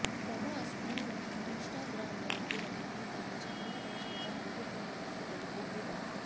ప్రభాస్ను ఇన్స్టాగ్రామ్లోకి రమ్మని తాను చాలా రోజులుగా అడుగుతున్నానని తెలపిందీ భామ